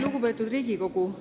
Lugupeetud Riigikogu!